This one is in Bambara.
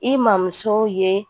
I mamuso ye